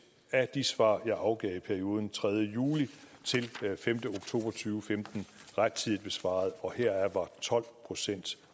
af de svar jeg afgav i perioden tredje juli til femte oktober to tusind og femten rettidigt besvaret og heraf var tolv procent